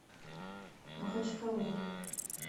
махачкалой